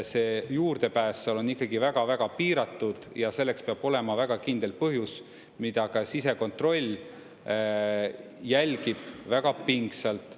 See juurdepääs seal on ikkagi väga-väga piiratud ja selleks peab olema väga kindel põhjus, mida ka sisekontroll jälgib väga pingsalt.